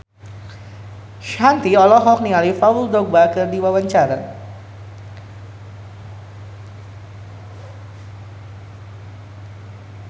Shanti olohok ningali Paul Dogba keur diwawancara